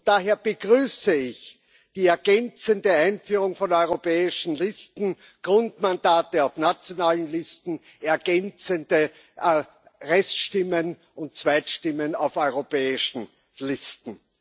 Daher begrüße ich die ergänzende Einführung von europäischen Listen, Grundmandate auf nationalen Listen, ergänzende Reststimmen und Zweitstimmen auf europäischen Listen.